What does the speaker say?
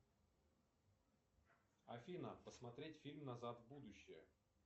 афина посмотреть фильм назад в будущее